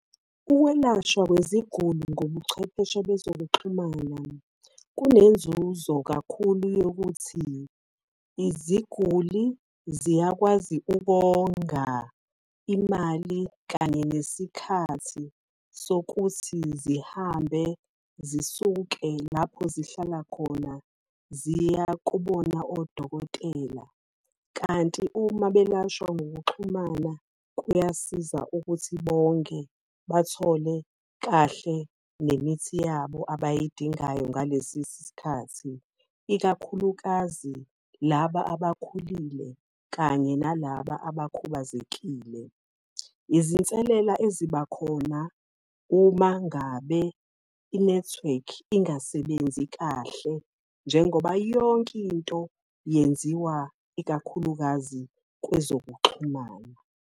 Ukwelashwa kweziguli ngobuchwepheshe bezokuxhumana, kunenzuzo kakhulu yokuthi iziguli ziyakwazi ukonga imali kanye nesikhathi sokuthi zihambe zisuke lapho zihlala khona ziya kubona odokotela. Kanti uma belashwa ngokuxhumana kuyasiza ukuthi bonge bathole kahle nemithi yabo abayidingayo ngalesi sikhathi ikakhulukazi laba abakhulile kanye nalaba abakhubazekile. Izinselela ezibakhona uma ngabe i-nethiwekhi ingasebenzi kahle, njengoba yonke into yenziwa ikakhulukazi kwezokuxhumana.